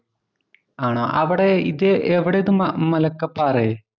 ആണോ? അവിടെ ഇതെവിടെയാ ഇത്? മലക്കപ്പാറയോ?